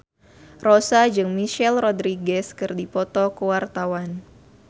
Rossa jeung Michelle Rodriguez keur dipoto ku wartawan